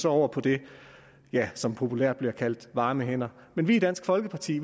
over på det som populært bliver kaldt varme hænder men vi i dansk folkeparti